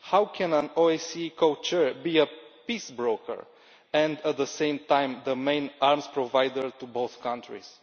How can an OSCE co chair be a peace broker and, at the same time, the main arms provider to both countries?